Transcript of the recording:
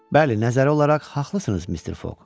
Bəli, nəzərə alaraq haqlısınız, Mister Foq.